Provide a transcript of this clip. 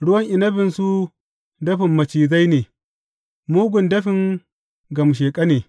Ruwan inabinsu dafin macizai ne, mugun dafin gamshaƙa ne.